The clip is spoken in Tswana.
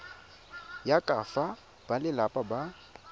ya ka fa balelapa ba